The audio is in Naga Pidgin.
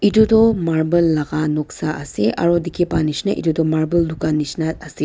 itudo marble laga noksa ase aro dikhi pai nishina etudu marble dukan nishina ase.